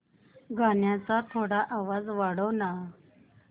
गाण्याचा थोडा आवाज वाढव ना